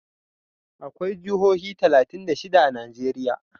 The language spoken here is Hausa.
Akwai jihohi talatin da shida a Najeriya.